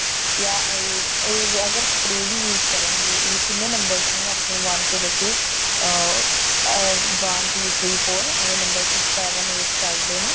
ਜਾਂ ਇਹ ਅਗਰ spray ਵੀ use ਕਰਨਗੇ ਇਹ ਕਿੰਨੇ numbers ਨੇ ਆਪਣੇ one ਤੋਂ ਲੇਕੇ ਅਹ one two three four ਐਵੇਂ six seven eight ਚੱਲਦੇ ਨੇ